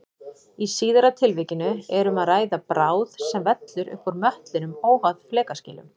Í síðara tilvikinu er um að ræða bráð sem vellur upp úr möttlinum óháð flekaskilum.